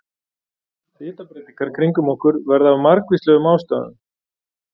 Hitabreytingar kringum okkur verða af margvíslegum ástæðum.